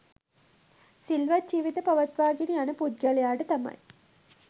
සිල්වත් ජීවිත පවත්වාගෙන යන පුද්ගලයාට තමයි